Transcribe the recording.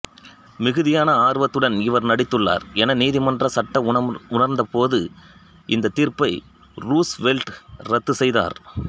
மிகுதியான ஆர்வத்துடன் இவர் நடித்துள்ளார் என நீதிமன்ற சட்ட உணர்ந்த போது இந்தத் தீர்ப்பை ரூஸ்வெல்ட் இரத்து செய்தார்